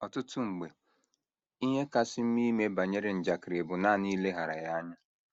Ọtụtụ mgbe, ihe kasị mma ime banyere njakịrị bụ nanị ileghara ya anya